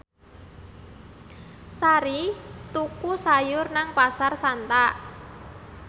Sari tuku sayur nang Pasar Santa